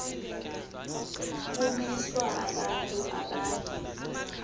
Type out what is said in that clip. kumiswa abantu abaya